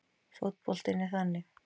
Fótboltinn er þannig